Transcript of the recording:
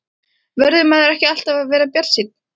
Verður maður ekki alltaf að vera bjartsýnn?